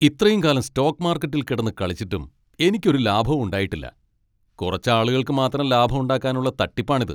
ഇത്രയും കാലം സ്റ്റോക്ക് മാർക്കറ്റിൽ കിടന്ന് കളിച്ചിട്ടും എനിക്കൊരു ലാഭവും ഉണ്ടായിട്ടില്ല, കുറച്ച് ആളുകൾക്ക് മാത്രം ലാഭം ഉണ്ടാക്കാനുള്ള തട്ടിപ്പാണിത്.